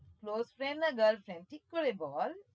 Close friend না girl friend? ঠিক করে বল।